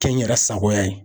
Kɛ n yɛrɛ sagoya ye.